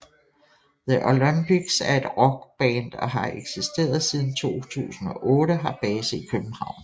The Olympics er et rockband og har eksisteret siden 2008 og har base i København